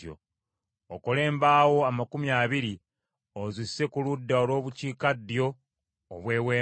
Okole embaawo amakumi abiri ozisse ku ludda olw’obukiikaddyo obw’Eweema,